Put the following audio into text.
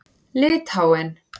Litháen